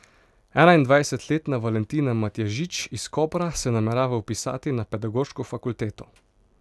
Enaindvajsetletna Valentina Matjažič iz Kopra se namerava vpisati na pedagoško fakulteto.